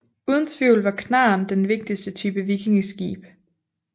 Uden tvivl var knarren den vigtigste type vikingeskib